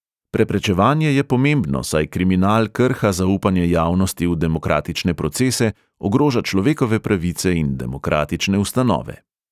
Preprečevanje je pomembno, saj kriminal krha zaupanje javnosti v demokratične procese, ogroža človekove pravice in demokratične ustanove.